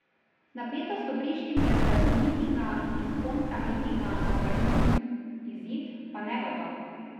Napetost v Prištini je zaradi mitinga in kontramitinga na vrhuncu, izid pa negotov.